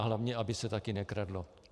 A hlavně aby se také nekradlo.